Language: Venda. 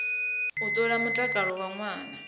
u ṱola mutakalo wa ṅwana